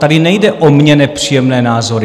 Tady nejde o mně nepříjemné názory.